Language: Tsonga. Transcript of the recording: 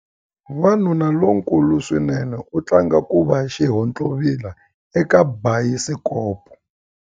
Wanuna lonkulu swinene u tlanga ku va xihontlovila eka bayisikopo.